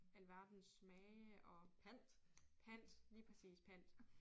Alverdens smage og pant lige præcis pant